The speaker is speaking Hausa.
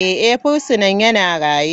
Eh, fursuna yana raye.